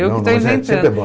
Eu que estou inventando.